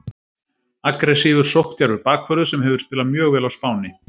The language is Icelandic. Aggressívur, sókndjarfur bakvörður sem hefur spilað mjög vel á Spáni,